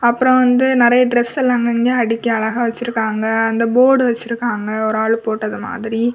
அப்ரோ வந்து நெறைய டிரஸ் எல்லா அங்க அங்க அடிக்கி அழகா வச்சிருக்காங்க அந்த போர்டு வச்சிருக்காங்க ஒரு ஆளு போட்டது மாதிரி.